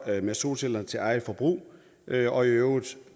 med solceller til eget forbrug og i øvrigt